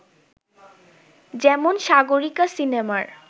যেমন ‘সাগরিকা’ সিনেমার